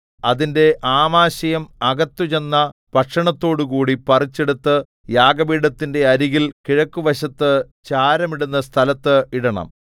അതിന്റെ ആമാശയം അകത്തുചെന്ന ഭക്ഷണത്തോടുക്കൂടി പറിച്ചെടുത്ത് യാഗപീഠത്തിന്റെ അരികിൽ കിഴക്കുവശത്തു ചാരമിടുന്ന സ്ഥലത്ത് ഇടണം